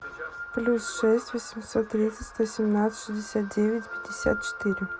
плюс шесть восемьсот тридцать сто семнадцать шестьдесят девять пятьдесят четыре